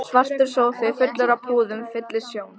Svartur sófi fullur af púðum fyllir sjón